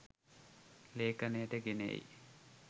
ලේඛනයට ගෙන එයි.